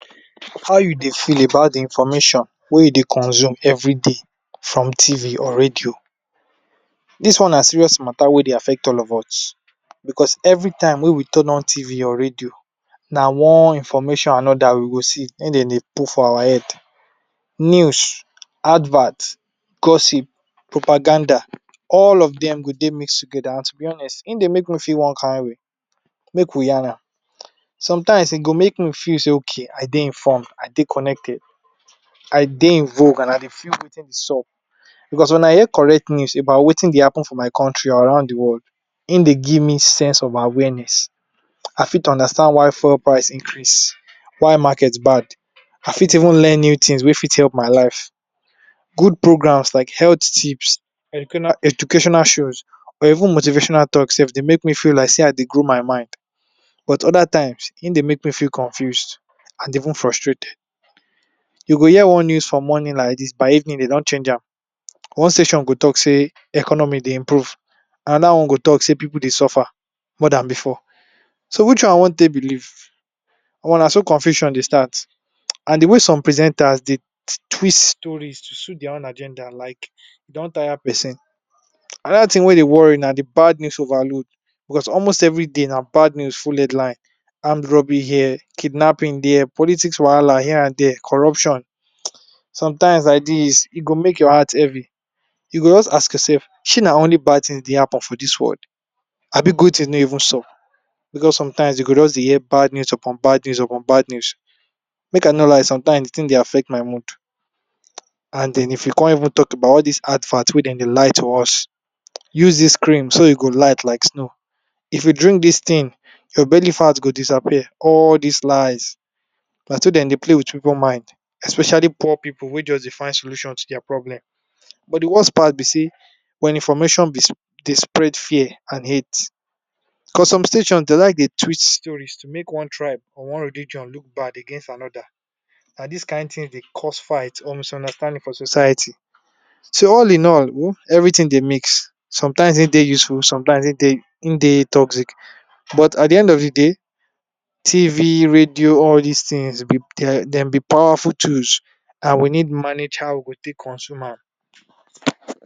How u Dey feel about d information wey u Dey consume everyday from Tv or radio, dis one na serious matter wey Dey affect all of us, because everytine wey we turn on arc or radio, na one information or anoda wey dem Dey put for our head, news, advert, gossip, propaganda all of dem go Dey mixed together na togetherness, hin Dey make me feel one kind way, make we yarn am, sometimes e go make me feel Okay I Dey informed I Dey connected I Dey invoke and I Dey feel Wetin sup, because wen I hear correct news about Wetin Dey happen for my country or around d world hin Dey give me sense of awareness, I got understand why fuel price increase, why make bad, I fit even learn new things wey fit help my life, good programs like health tips, educational shows or even motivational talks sef Dey make me feel like sey I Dey grow my mind, but oda times hin dey make me feel confused and even frustrated, I go hear one news for morning like dis by evening dev don change an, ine session go talk sey economy dey improve anoda one go talk sey pipu dey suffer more Dan before so which one I wan take believe, Omo naso confusion dey start and d wey some presenters dey twist stories to dis own agenda like e don tire persin, anida thing wey dey worry na d bad new overload, because almost everyday na bad news full headline, armed robbery here, kidnapping there, politics wahala here and there, corruption sometimes like dis e go make your heart heavy, u go jus ask your self sey na only bad things dey happen for dis world Abi good things no even sup, because sometimes I go just dey hear bad news upon bad news upon bad news, make I no lie sometimes d thing dey affect my mood, and den of u con even talk about all dis advert wey dem dey lie to us, use dis cream so u go light like snow, if u drink dis thing your belly fat go disappear, all dis lies naso dem dey play with pipu mind especially poor pipu wey jus dey find solution to dia problem, but d worst part b sey wen information dey spread fear and hate, for some stations dem like to dey switch stories to make one tribe or one religion look back against another, na dos kind thing Dey cause fight or misunderstanding for society, so all in all everything Dey mix sometimes hin Dey useful sometimes hin Dey toxic but, at d end of d day, TV radio all dis things dem b powerful tools and we need manage how we go take consume am.